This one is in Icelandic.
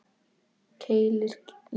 Keilir, Ísland.